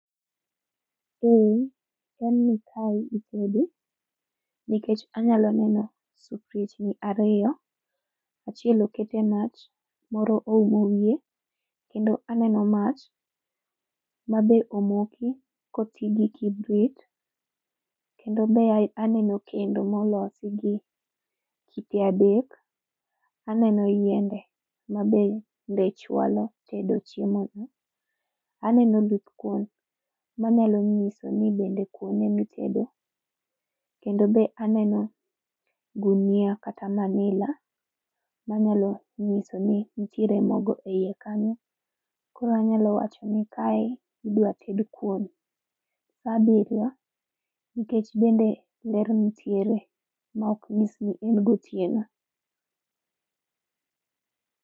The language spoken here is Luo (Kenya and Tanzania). Eee chalni kae itede. Nikech anyalo neno, sufriechni ariyo, achiel okete e mach, moro oumo wiye, kendo aneno mach, ma be omoki kotii gi kibrit, kendo be aneno kendo molosi gi kite adek. Aneno yiende ma be nde chwalo tedo chiemo no. Aneno oludh kuon, manyalo nyiso ni bende kuon emi tedo, kendo be aneno gunia kata manila, manyalo nyiso ni nitiere mogo e iye kanyo. Koro anyalo wacho ni kae idwa ted kuon saa abiriyo nikech bende ler nitiere ma ok nyis ni en gotieno